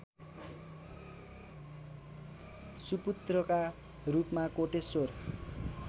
सुपुत्रका रूपमा कोटेश्वर